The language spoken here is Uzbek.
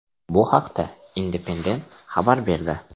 Bu haqda Independent xabar berdi .